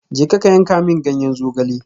Jeka ka yanka min ganyen zogale.